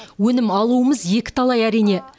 өнім алуымыз екіталай әрине